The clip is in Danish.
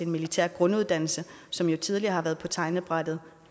militær grunduddannelse som jo tidligere har været på tegnebrættet